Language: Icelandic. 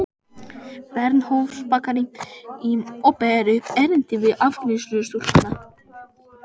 Bernhöftsbakaríi og ber upp erindið við afgreiðslustúlkuna.